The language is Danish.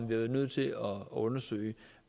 været nødt til at undersøge